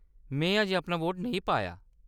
में अजें अपना वोट नेईं पाया ।